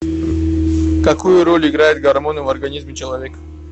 какую роль играют гормоны в организме человека